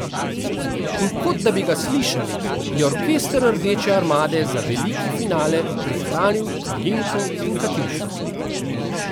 In kot da bi ga slišali, je orkester Rdeče armade za veliki finale prihranil Kalinko in Katjušo.